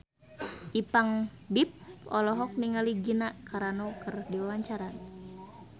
Ipank BIP olohok ningali Gina Carano keur diwawancara